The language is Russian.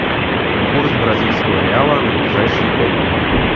курс бразильского реала на ближайшие пять дней